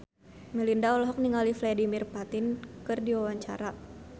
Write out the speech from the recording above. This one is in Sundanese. Melinda olohok ningali Vladimir Putin keur diwawancara